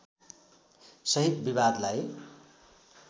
सहित विवादलाई